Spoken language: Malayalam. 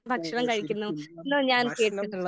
ഓ ശെരിക്കും നമുക്ക് ഭക്ഷണം.